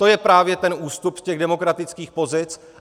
To je právě ten ústup z těch demokratických pozic.